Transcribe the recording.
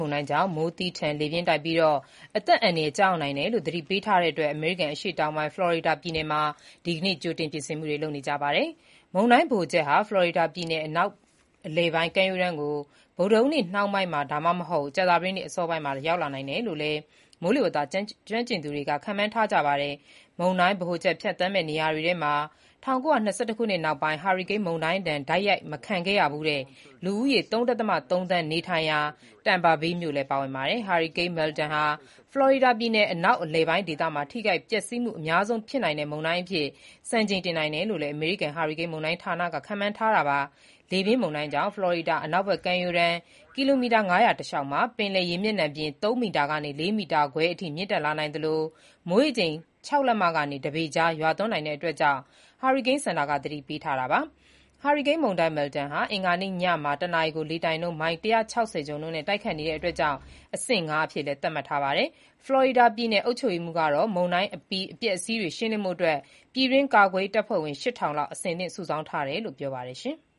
မုန်တိုင်းကြောင့် မိုးသည်းထန်၊ လေပြင်းတိုက်ခတ်ပြီး အသက်အန္တရာယ် ကျရောက်နိုင်တယ်လို့ သတိပေးထားတာကြောင့် အမေရိကန် အရှေ့တောင်ပိုင်း ဖလော်ရီဒါပြည်နယ်မှာ ဒီကနေ့ ကြိုတင်ပြင်ဆင်နေကြရပါတယ်။ မုန်တိုင်းဗဟိုချက်ဟာ ဖလော်ရီဒါပြည်နယ် အနောက်အလယ်ပိုင်း ကမ်းရိုးတန်းကို ဗုဒ္ဓဟူးနေ့နှောင်းပိုင်း ဒါမှမဟုတ် ကြာသပတေးနေ့ အစောပိုင်းလောက် ရောက်လာနိုင်တယ်လို့လည်း မိုးလေဝသကျွမ်းကျင်သူတွေက ခန့်မှန်းထားပါတယ်။ မုန်တိုင်းဗဟိုချက် ဖြတ်သန်းမယ့် နေရာတွေထဲမှာ ၁၉၂၁ ခုနှစ်နောက်ပိုင်း ဟာရီကိန်းမုန်တိုင်းဒဏ် တိုက်ရိုက် မခံခဲ့ရဖူးတဲ့ လူဦးရေ ၃.၃ သန်း နေထိုင်ရာ Tampa Bay မြို့လည်း ပါဝင်ပါတယ်။ Milton ဟာရီကိန်းဟာ ဖလော်ရီဒါပြည်နယ် အနောက်အလယ်ပိုင်း ဒေသမှာ ထိခိုက်ပျက်စီးမှုအများဆုံး ဖြစ်နိုင်တဲ့ မုန်တိုင်းအဖြစ် စံချိန်တင်နိုင်တယ်လို့လည်း အမေရိကန် ဟာရီကိန်းမုန်တိုင်းဌာနက ခန့်မှန်းထားတာပါ။ လေပြင်းမုန်တိုင်းကြောင့် ဖလော်ရီဒါ အနောက်ကမ်းရိုးတမ်း ကီလိုမီတာ ၅၀၀ တလျှောက်မှာ ပင်လယ်ရေမျက်နှာပြင် ၃ မီတာကနေ ၄ မီတာခွဲအထိ မြင့်တက်လာနိုင်သလို မိုးရေချိန် ၆ လက်မကနေ ၁ ပေကြား ရွာသွန်းနိုင်ကြောင်း ဟာရီကိန်းစင်တာက သတိပေးထားတာပါ။ ဟာရီကိန်းမုန်တိုင်း Milton ဟာ အင်္ဂါနေ့ညမှာ တနာရီကို လေတိုက်နှုန်း မိုင် ၁၆၀ ကျော်နှုန်းနဲ့ တိုက်ခတ်နေတာကြောင့် အဆင့် ၅ အဖြစ် သတ်မှတ်ထားပါတယ်။ ဖလော်ရီဒါပြည်နယ် အုပ်ချုပ်ရေးမှူး Ron DeSantis က မုန်တိုင်းအပြီး အပျက်အစီးတွေရှင်းလင်းဖို့ ပြည်တွင်းကာကွယ်ရေး တပ်ဖွဲ့ဝင် ၈၀၀၀ လောက် အဆင်သင့် စုဆောင်းထားတယ်လို့ ပြောပါတယ်။